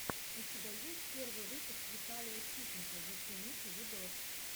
у тебя есть первый выпуск виталия ситника зацените видос